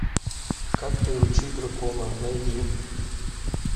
как приручить дракона найди